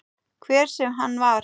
Hver sem hann var.